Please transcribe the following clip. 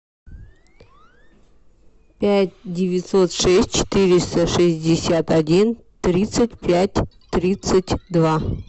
пять девятьсот шесть четыреста шестьдесят один тридцать пять тридцать два